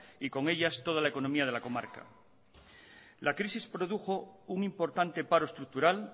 y con ellas toda la economía de la comarca la crisis produjo un importante paro estructural